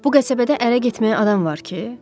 Bu qəsəbədə ərə getməyə adam var ki?